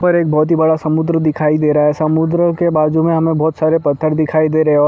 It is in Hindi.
यहाँ पर एक बहुत ही बड़ा समुंद्र दिखाई दे रहा है समुंद्र के बाजू में हमें बहुत सारे पत्थर दिखाई दे रहे हैं और--